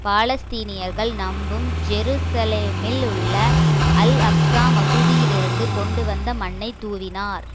பாலஸ்தீனியர்கள் நம்பும் ஜெருசலேமில் உள்ள அல் அக்சா மசூதியிலிருந்து கொண்டு வந்த மண்ணைத் தூவினார்